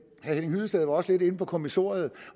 herre henning hyllested var også lidt inde på kommissoriet